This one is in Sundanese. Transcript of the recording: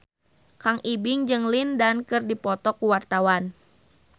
Kang Ibing jeung Lin Dan keur dipoto ku wartawan